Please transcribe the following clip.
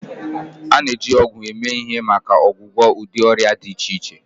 A na-eji ọgwụ eme ihe maka ọgwụgwọ ụdị ọrịa dị iche iche